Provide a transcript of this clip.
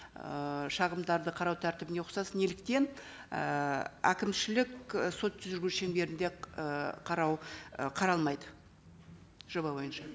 ыыы шағымдарды қарау тәртібіне ұқсас неліктен ііі әкімшілік і сот жүргізу шеңберінде ы қарау ы қаралмайды жоба бойынша